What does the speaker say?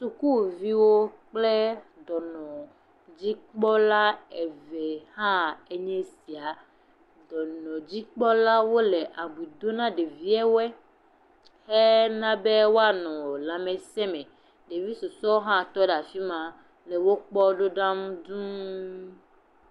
Sukuviwo kple dɔnɔdzikpɔla eve hãe nye sia. Dɔnɔdzikpɔlawo le abui do na ɖeviawoe hena be woanɔ lãmesẽ me. Ɖevi susue hã tɔ ɖe afi ma le wokpɔm ɖo ɖam dũuu.